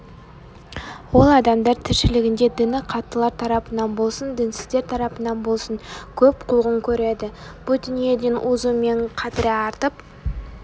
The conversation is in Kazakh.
ол адамдар тіршілігінде діні қаттылар тарапынан болсын дінсіздер тарапынан болсын көп қуғын көреді бұ дүниеден озуымен қадірі артып